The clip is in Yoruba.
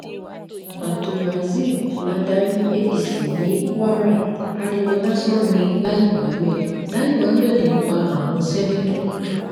abdulrazib ladarí apc ní kwara ariwo lásán ni lai muhammed lai muhammed ń pa àwọn seneto